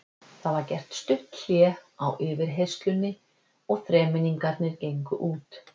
Það var gert stutt hlé á yfirheyrslunni og þremenningarnir gengu út.